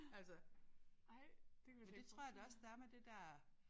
Altså men det tror jeg da også der er med det der